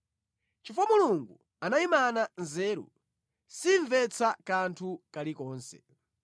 Chifukwa Mulungu anayimana nzeru, simvetsa kanthu kalikonse.